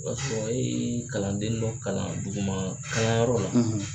O y'a sɔrɔ e ye kalanden dɔ kalan duguman kalanyɔrɔ la.